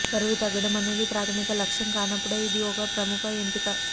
బరువు తగ్గడం అనేది ప్రాధమిక లక్ష్యం కానప్పుడు ఇది ఒక ప్రముఖ ఎంపిక